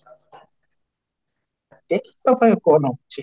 ଏପଟେ କା ଅଛି